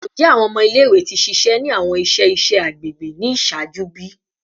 Njẹ awọn ọmọ ile-iwe ti ṣiṣẹ ni awọn iṣẹ iṣẹ agbegbe ni iṣaaju bi?